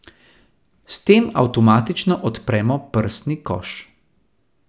S tem avtomatično odpremo prsni koš.